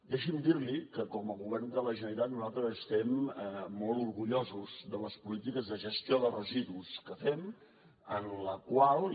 deixi’m dir li que com a govern de la generalitat nosaltres estem molt orgullosos de les polítiques de gestió de residus que fem en les quals